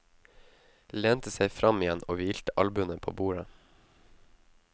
Lente seg fram igjen og hvilte albuene på bordet.